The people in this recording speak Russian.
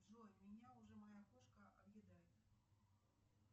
джой меня уже моя кошка объедает